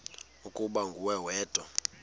ukuba nguwe wedwa